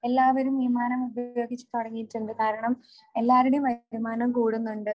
എല്ലാവരും വിമാനം ഒക്കെ ഉപയോഗിച്ചു തുടങ്ങിയിട്ടുണ്ട് കാരണം എല്ലാവരുടെയും വിമാനം കൂടുന്നുണ്ട്.